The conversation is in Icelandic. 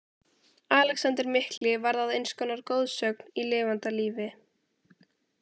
Alexander mikli varð að eins konar goðsögn í lifanda lífi.